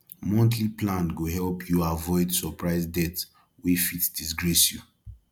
monthly plan go help you avoid surprise debt wey fit disgrace you